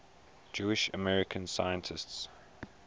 jewish american scientists